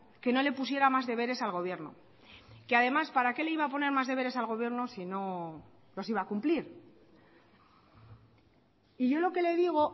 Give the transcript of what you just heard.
que no le pusiera más deberes al gobierno que además para qué le iba a poner más deberes al gobierno si no los iba a cumplir y yo lo que le digo